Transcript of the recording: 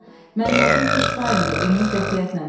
Mənim adım Tışbayndır, Emil qətiyyətlə dedi.